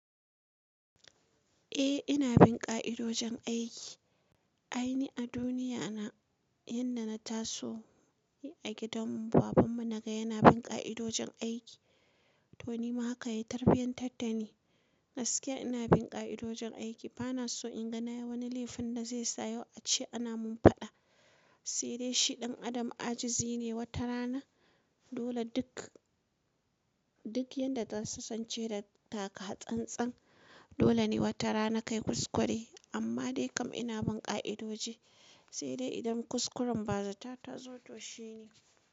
Eh ina bin ƙa'idojin aiki. Aini a duniya na, yadda na taso a gidan mu, baban mu na ga yana bin ƙa'idojin aiki, to ni ma haka ya tarbiyantar da ni. Gaskiya ina bin ƙa'idojin aiki, bana so in ga na yi wani laifin da zai sa yau a ce ana mun faɗa. Sai dai shi ɗan adam ajizi ne wata rana. Dole duk, duk yanda ta kasance da taka tsantsan, dole ne wata rana kai kuskure. Amma dai kam ina bin ƙa'idoji. Sai dai idan kuskuren ba zata tazo to shi ne.